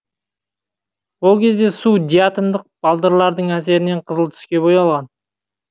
ол кезде су диатомдық балдырлардың әсерінен қызыл түске боялған